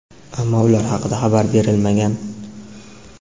ammo ular haqida xabar berilmagan.